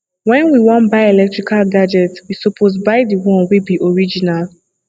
when we wan buy electrical gadgets we suppose buy di one wey be original